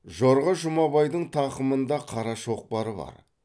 жорға жұмабайдың тақымында қара шоқпары бар